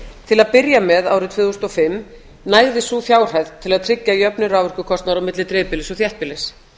til að byrja með árið tvö þúsund og fimm nægði sú fjárhæð til að tryggja jöfnun raforkukostnaðar milli dreifbýlis og þéttbýlis